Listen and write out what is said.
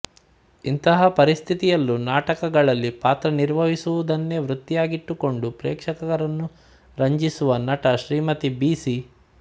ಇಂತಹ ಪರಿಸ್ತಿತಿಯಲ್ಲೂ ನಾಟಕಗಳಲ್ಲಿ ಪಾತ್ರ ನಿರ್ವಹಿಸುವುದೆನ್ನೇ ವೃತ್ತಿಯಾಗಿಟ್ಟುಕೊಂಡು ಪ್ರೇಕ್ಶಕರನ್ನು ರಂಜಿಸುವ ನಟ ಶ್ರೀಮತಿ ಬಿ ಸಿ